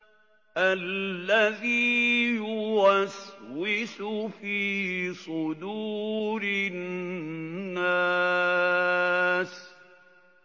الَّذِي يُوَسْوِسُ فِي صُدُورِ النَّاسِ